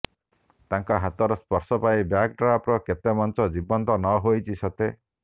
ତାଙ୍କ ହାତର ସ୍ପର୍ଶ ପାଇ ବ୍ୟାକ୍ଡ୍ରପ୍ର କେତେ ମଞ୍ଚ ଜୀବନ୍ତ ନହୋଇଛି ସତେ